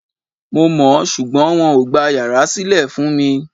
Mo mọ̀, ṣùgbọ́n wọn ò gba yàrá sílè fún mi Ì